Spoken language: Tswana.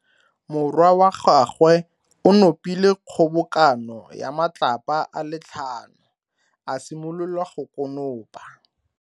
Morwa wa gagwe o nopile kgobokano ya matlapa a le tlhano, a simolola go konopa.